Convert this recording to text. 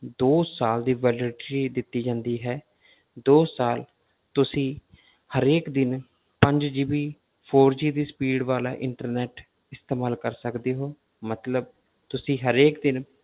ਦੋ ਸਾਲ ਦੀ validity ਦਿੱਤੀ ਜਾਂਦੀ ਹੈ ਦੋ ਸਾਲ ਤੁਸੀਂ ਹਰੇਕ ਦਿਨ ਪੰਜ GB four G ਦੀ speed ਵਾਲਾ internet ਇਸਤੇਮਾਲ ਕਰ ਸਕਦੇ ਹੋ ਮਤਲਬ ਤੁਸੀਂ ਹਰੇਕ ਦਿਨ